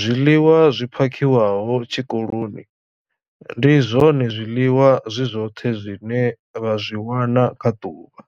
zwiḽiwa zwi phakhiwaho tshikoloni ndi zwone zwiḽiwa zwi zwoṱhe zwine vha zwi wana kha ḓuvha.